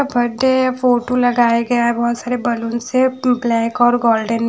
बड day है photo लगाया गया है बहत सारे बलून से ब्लॉक और गोल्डन --